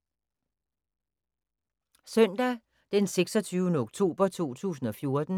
Søndag d. 26. oktober 2014